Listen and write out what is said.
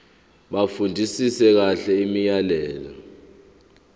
bafundisise kahle imiyalelo